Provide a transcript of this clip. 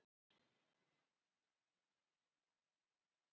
Rangskynjanir eru mistúlkun á skynhrifum.